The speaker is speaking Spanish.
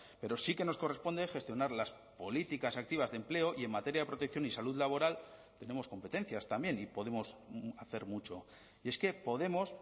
pero sí que nos corresponde gestionar las políticas activas de empleo y en materia de protección y salud laboral tenemos competencias también y podemos hacer mucho y es que podemos